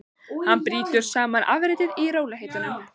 Hann brýtur saman afritið í rólegheitunum.